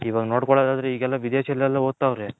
ಇವಗ್ ನೋಡ್ಕೊಲ್ಲದ್ ಆದ್ರೆ ಈಗೆಲ್ಲ ವಿದೇಶ ದಲ್ಲಿ ಓದ್ತವ್ರೆ